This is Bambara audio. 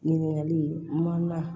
Ɲininkali man